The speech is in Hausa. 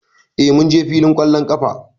Eh, mun je fillin ƙwallon ƙafa